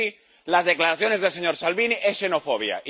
Y sí, las declaraciones del señor Salvini son xenofobia.